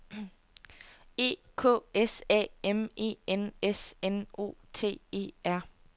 E K S A M E N S N O T E R